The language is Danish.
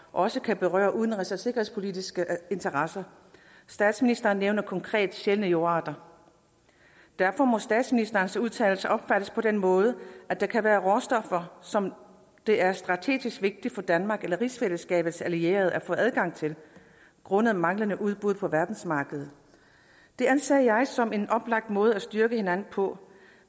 også kan berøre udenrigs og sikkerhedspolitiske interesser statsministeren nævner konkret sjældne jordarter derfor må statsministerens udtalelser opfattes på den måde at der kan være råstoffer som det er strategisk vigtigt for danmark eller rigsfællesskabets allierede at få adgang til grundet manglende udbud på verdensmarkedet det anser jeg som en oplagt måde at styrke hinanden på